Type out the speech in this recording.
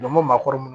N'an ko maakɔrɔ